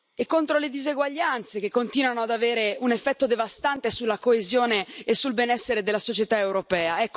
e contro le diseguaglianze che continuano ad avere un effetto devastante sulla coesione e sul benessere della società europea.